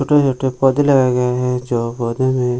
छोटे-छोटे पौधे लगाए गए हैं जो पौधे में --